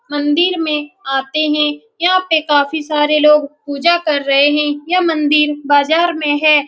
मंदिर में आते है यहाँ पे काफी सारे लोग पूजा कर रहे है मंदिर बाजार में है।